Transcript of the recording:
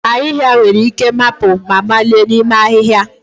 Ahịhịa nwere ike mapụ ma malie n'ime ahịhịa